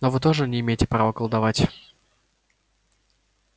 но вы тоже не имеете права колдовать